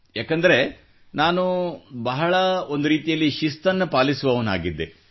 ಏಕೆಂದರೆ ನಾನು ಬಹಳ ಒಂದು ರೀತಿಯಲ್ಲಿ ಶಿಸ್ತನ್ನು ಪಾಲಿಸುವವನಾಗಿದ್ದೆ